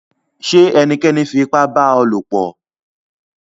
Ṣé ènìkẹ́ní fi ìpà bá ọ lọ̀pọ̀?